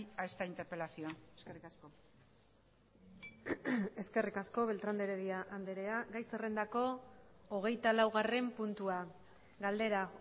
a esta interpelación eskerrik asko eskerrik asko beltrán de heredia andrea gai zerrendako hogeita laugarren puntua galdera